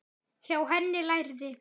Hjá henni lærði